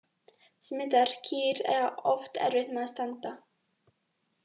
Smitaðar kýr eiga oft erfitt með að standa.